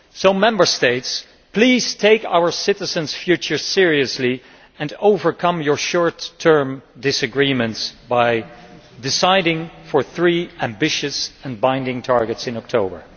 So, Member States, please take our citizens' future seriously and overcome your short term disagreements by deciding in favour of three ambitious and binding targets in October.